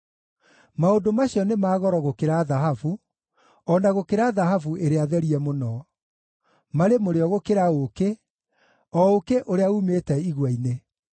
Maũndũ macio nĩ ma goro gũkĩra thahabu, o na gũkĩra thahabu ĩrĩa therie mũno; marĩ mũrĩo gũkĩra ũũkĩ, o ũũkĩ ũrĩa uumĩte igua-inĩ.